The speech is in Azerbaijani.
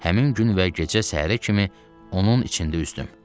Həmin gün və gecə səhərə kimi onun içində üzdüm.